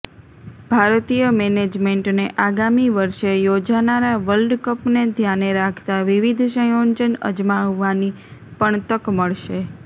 ભારતીય મેનેજમેન્ટને આગામી વર્ષે યોજાનારા વર્લ્ડ કપને ધ્યાને રાખતાં વિવિધ સંયોજન અજમાવવાની પણ તક મળશે